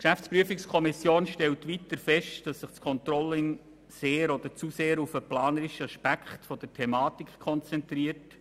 Die GPK stellt weiter fest, dass sich das Controlling sehr oder zu sehr auf den planerischen Aspekt der Thematik konzentriert.